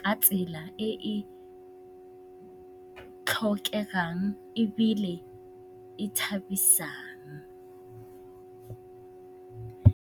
ka tsela e e tlhokegang ebile e thabisang.